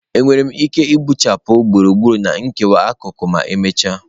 Enwere m ike gbuchapụ gburugburu na nkewa akụkụ ma emechaa?